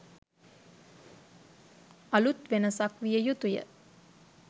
අලූත් වෙනසක් විය යුතුය